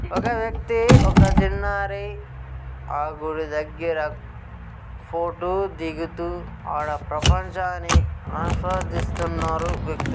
ఒక వ్యక్తి ఒక చిన్నారి ఆ గుడి ధగర ఫోటో ధిగుతూ ఆడ ఆ ప్రపంచాన్ని ఆస్వాదిస్తునారు